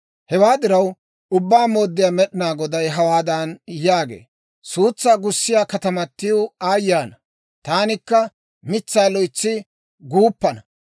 «Hewaa diraw, Ubbaa Mooddiyaa Med'inaa Goday hawaadan yaagee; ‹Suutsaa gussiyaa katamatiw aayye ana! Taanikka mitsaa loytsa guuppana.